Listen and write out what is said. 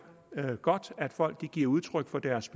er det godt at folk giver udtryk for deres